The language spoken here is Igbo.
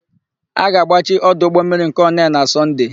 A ga-agbachi ọdụ ụgbọmmiri nke Onee na Sọnde.